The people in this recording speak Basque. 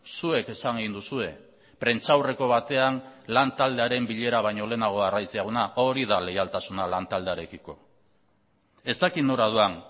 zuek esan egin duzue prentsaurreko batean lan taldearen bilera baino lehenago arraiz jauna hori da leialtasuna lan taldearekiko ez dakit nora doan